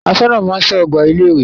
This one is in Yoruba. Aṣọ́nà máa ń ṣọ́ ọgbà ilé ìwé.